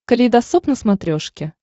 калейдосоп на смотрешке